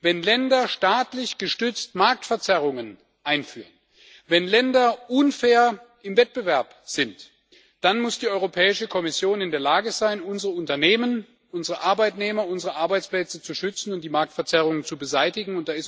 wenn Länder staatlich gestützt Marktverzerrungen einführen, wenn Länder unfair im Wettbewerb sind, dann muss die Europäische Kommission in der Lage sein, unsere Unternehmen, unsere Arbeitnehmer, unsere Arbeitsplätze zu schützen und die Marktverzerrungen zu beseitigen.